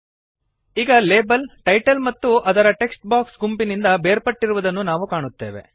ಈಗ label title ಮತ್ತು ಅದರ ಟೆಕ್ಸ್ಟ್ ಬಾಕ್ಸ್ ಗುಂಪಿನಿಂದ ಬೇರ್ಪಟ್ಟಿರುವುದನ್ನು ನಾವು ಕಾಣುತ್ತೇವೆ